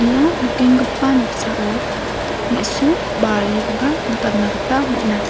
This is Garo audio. ia nikenggipa noksao me·su barikoba nikatna gita man·a.